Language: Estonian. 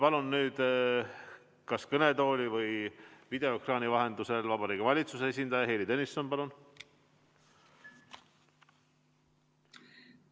Palun nüüd kas kõnetooli või videoekraani vahendusel Vabariigi Valitsuse esindaja Heili Tõnisson!